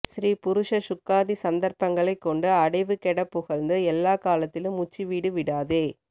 ஸ்ரீ புருஷ ஸூக்தாதி சந்தர்ப்பங்களைக் கொண்டு அடைவு கெடப் புகழ்ந்து எல்லாக் காலத்திலும் உச்சி வீடு விடாதே